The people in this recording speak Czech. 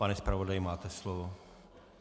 Pane zpravodaji, máte slovo.